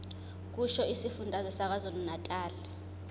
kusho isifundazwe sakwazulunatali